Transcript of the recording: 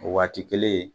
O waati kelen